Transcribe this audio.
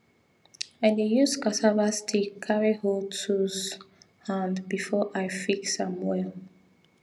i dey use cassava stick carry hold tools hand before i fix am well